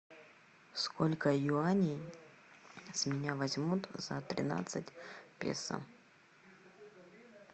сколько юаней с меня возьмут за тринадцать песо